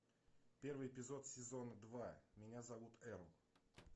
первый эпизод сезон два меня зовут эрл